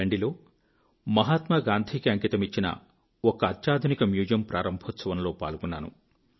దాండి లో మహాత్మాగాంధీకి అంకితమిచ్చిన ఒక అత్యాధునిక మ్యూజియం ప్రారంభోత్సవంలో పాల్గొన్నాను